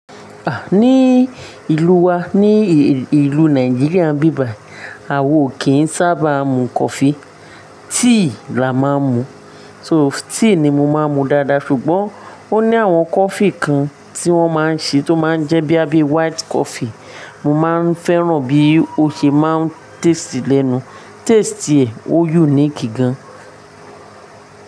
Ah! Ní ìlú wa, ní ìlú Nàìjíríà nbí bài, àwo o kì n sábà mu coffee. Tea la máa ń mu. So tea ni mo máa ń mu dáadáa. Ṣùgbọ́n ó ní àwọn coffee kan tí wọ́n máa ń ṣe tó máa ń jẹ́ boya bíi white coffee, mo máa ń fẹ́ràn bí ó ṣe máa ń taste lẹ́nu. Taste ẹ̀ ó unique gan.